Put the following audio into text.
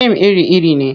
Fim iri-iri ne.